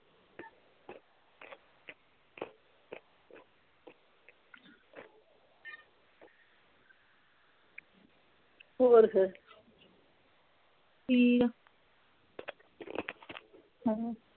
ਹੋਰ ਫੇਰ ਠੀਕ ਆ ਹਮ